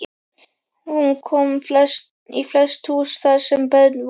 Hún kom í flest hús þar sem börn voru.